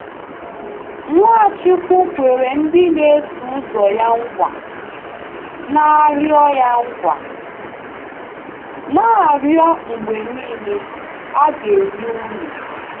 Nwachukwu kwere ndị na-eso ụzọ ya nkwa: “Na-arịọ ya nkwa: “Na-arịọ mgbe niile, a ga-enye unu.. .”